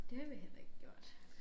Det har vi heller ikke gjort